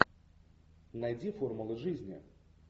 найди формулы жизни